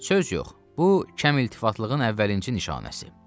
Söz yox, bu kəm iltifatlığın əvvəlincə nişanəsi.